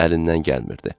əlindən gəlmirdi.